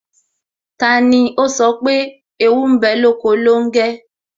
Tani ó sọ pé "Ewu ń bẹ lóko longe?